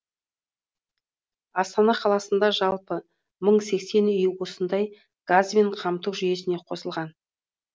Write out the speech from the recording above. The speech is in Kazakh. астана қаласында жалпы мың сексен үй осындай газбен қамту жүйесіне қосылған